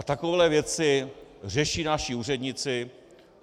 A takové věci řeší naši úředníci.